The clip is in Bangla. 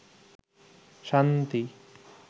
শান্তি